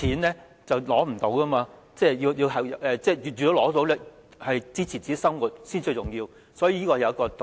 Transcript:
能申索金錢來支持自己的生活才是最重要，所以道理就在這裏。